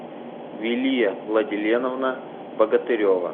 вилия владиленовна богатырева